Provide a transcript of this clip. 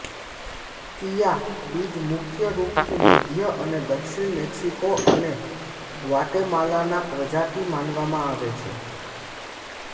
ચિયા બીજ મુખ્ય રૂપથી મધ્ય અને દક્ષિણ મેક્સિકો અને ગ્વાટેમાલાના પ્રજાતિ માનવામાં આવે છે